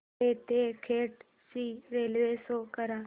ठाणे ते खेड ची railway show करा